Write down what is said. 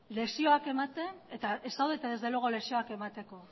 lekzioak ematen eta ez zaudete desde luego lekzioak emateko